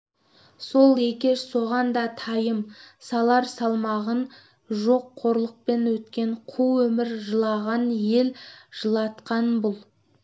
сол екеш соған да тайым салар салмағың жоқ қорлықпен өткен қу өмір жылаған ел жылатқан бұл